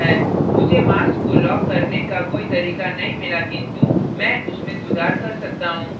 मुझे mask को lock करने का कोई तरीका नहीं मिला किन्तु मैं उसमें सुधार कर सकता हूँ